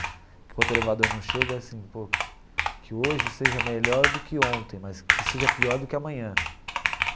Enquanto o elevador não chega, assim, pô, que hoje seja melhor do que ontem, mas que seja pior do que amanhã.